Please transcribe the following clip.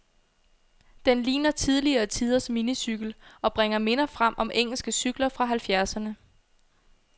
Den ligner tidligere tiders minicykel, og bringer minder frem om engelske cykler fra halvfjerdserne.